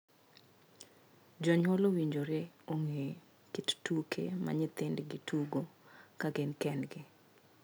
Jonyuol owinjore ong'ee kit tuke ma nyithindgi tugo ka gin kendgi.